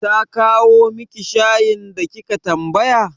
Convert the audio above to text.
Ta kawo miki shayin da kika tambaya?